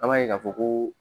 An b'a ye ka fɔ ko